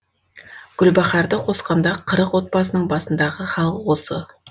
гүлбаһарды қосқанда қырық отбасының басындағы хал осы